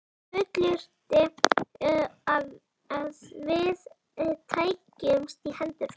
Fullyrti, að við tækjumst í hendur.